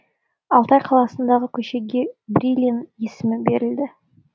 алтай қаласындағы көшеге брилин есімі берілді